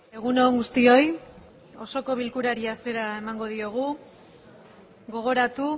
egun on guztioi osoko bilkurari hasiera emango diogu gogoratu